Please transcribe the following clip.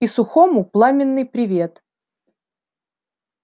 и сухому пламенный привет